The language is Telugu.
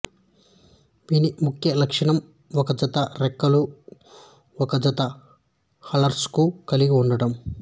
వీని ముఖ్య లక్షణం ఒక జత రెక్కలు ఒక జత హాల్టార్స్ ను కలిగి ఉండటం